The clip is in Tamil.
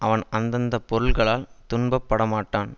அவன் அந்த அந்த பொருள்களால் துன்பப் பட மாட்டான்